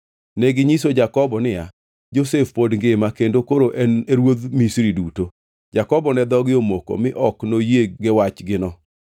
Neginyiso Jakobo niya, “Josef pod ngima kendo koro en e ruodh Misri duto.” Jakobo ne dhoge omoko, mi ok noyie gi wachgino.